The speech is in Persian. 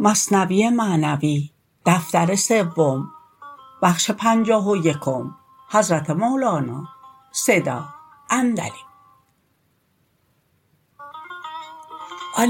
آن